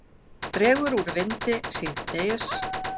Dregur úr vindi síðdegis